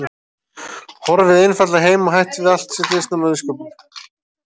horfið einfaldlega heim og hætt við allt sitt listnám og listsköpun.